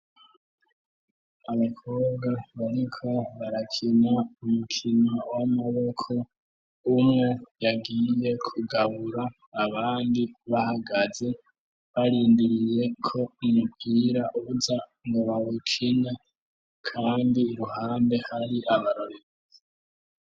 Abakobwa bariko barakina umukino w'amaboko umwe yagiye kugabura abandi bahagaze barindiriye ko imipira uza mu bawukina kandi uruhande hari abarorerezi.